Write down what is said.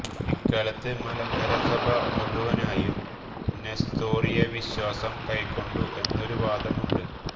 ഇക്കാലത്ത് മലങ്കര സഭ മുഴുവനായും നെസ്തോറിയ വിശ്വാസം കൈക്കൊണ്ടു എന്നൊരു വാദം ഉണ്ട്